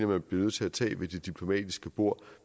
man bliver nødt til at tage ved det diplomatiske bord